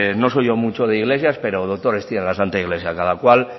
no soy yo mucho de iglesias pero doctores tiene la santa iglesia cada cual